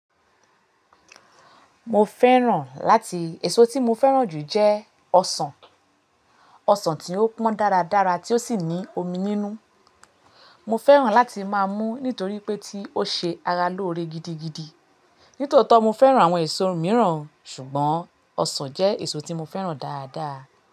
Mo fẹ́ràn láti-- èso tí mo fẹ́ràn jù jẹ́ ọsàn. Ọsàn tí ó pọ́n dára dára tí ó sì ní omi nínú. Mo fẹ́ràn láti máa mú nítorí pé tí ó ṣe ara lóore gidigidi. Nítòótọ́ mo fẹ́ràn àwọn èso mìíràn ṣùgbọ́n ọsàn jẹ́ èso tí mo fẹ́ràn dáadáa.